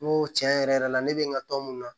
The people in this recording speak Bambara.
N ko tiɲɛ yɛrɛ yɛrɛ la ne bɛ n ka tɔn mun na